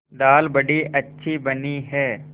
दाल बड़ी अच्छी बनी है